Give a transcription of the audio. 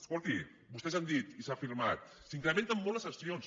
escolti vostès han dit i s’ha afirmat s’incrementen molt les sancions